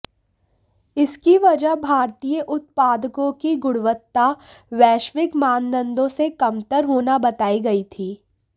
इसकी वजह भारतीय उत्पादकों की गुणवत्ता वैश्विक मानदंडों से कमतर होना बताई गई थी